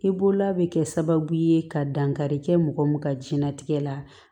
I bolola bɛ kɛ sababu ye ka dankari kɛ mɔgɔ min ka jɛnnatigɛ la